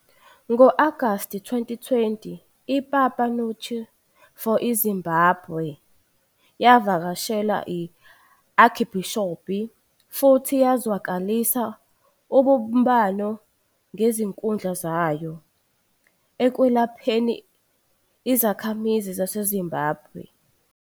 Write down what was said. Ngo-Agasti 2020 iPapa Nuncio for Zimbabwe yavakashela i-archbisop, futhi yazwakalisa ubumbano ngezikhundla zayo ekwelapheni izakhamizi zaseZimbabwe.